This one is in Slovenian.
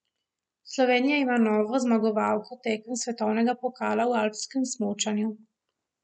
Slovenija ima novo zmagovalko tekem svetovnega pokala v alpskem smučanju.